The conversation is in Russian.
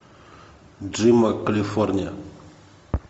джима калифорния